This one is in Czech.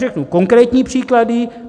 Řeknu konkrétní příklady.